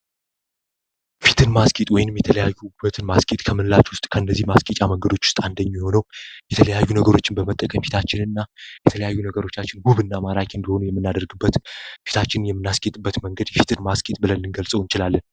ፊትን ማስጌጥ ወይንም የተለያዩ ሁነትን ማስጌጥ ከምላች ውስጥ ከነዚህ ማስኬጫ መንገዶች ውስጥ አንደኙ የሆነው የተለያዩ ነገሮችን በመጠቀም ፊታችን እና የተለያዩ ነገሮቻችን ጉብ እና ማራኬ እንደሆኑ የምናደርግበት ፊታችን የምናስኬጥበት መንገድ የፊትን ማስጌጥ ብለልን ልንገልጸው እንችላለን።